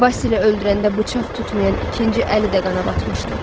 Basili öldürəndə bıçaq tutmayan ikinci əli də qana batmışdı.